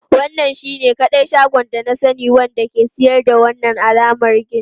Wannan shine kadai shagon da na sani wanda ke siyar da wannan alamar gin.